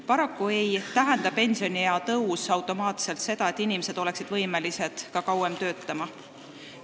Paraku ei tähenda pensioniea tõus automaatselt seda, et inimesed on võimelised kauem töötama.